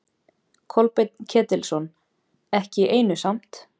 Kolbeinn Ketilsson: Ekki í einu samt?